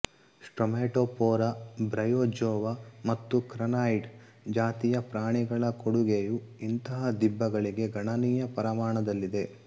stromatopora bryozoa ಮತ್ತು crinoid ಜಾತಿಯ ಪ್ರಾಣಿಗಳ ಕೊಡುಗೆಯೂ ಇಂಥ ದಿಬ್ಬಗಳಿಗೆ ಗಣನೀಯ ಪರಮಾಣದಲ್ಲಿದೆ